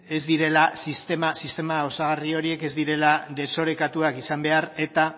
sistema osagarri horiek ez direla desorekatuak izan behar eta